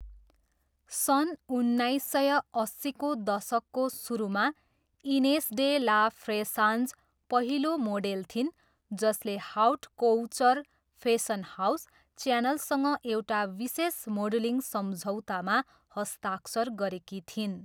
सन् उन्नाइस सय अस्सीको दशकको सुरुमा, इनेस डे ला फ्रेसान्ज पहिलो मोडेल थिइन् जसले हाउट कोउचर फेसन हाउस, च्यानलसँग एउटा विशेष मोडलिङ सम्झौतामा हस्ताक्षर गरेकी थिइन्।